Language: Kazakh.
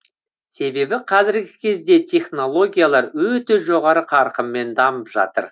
себебі қазіргі кезде технологиялар өте жоғары қарқынмен дамып жатыр